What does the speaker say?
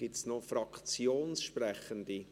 Gibt es noch Fraktionssprechende?